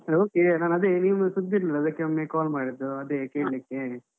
Okay ನಾನದೆ, ನಿಮ್ದು ಸುದ್ದಿ ಇರ್ಲಿಲ್ಲ ಅದಕ್ಕೆ ಒಮ್ಮೆ call ಮಾಡಿದ್ದು, ಅದೆ ಕೇಳಿಕ್ಕೆ.